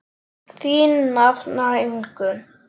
Þín nafna Ingunn.